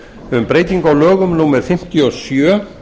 um breytingu á lögum númer fimmtíu og sjö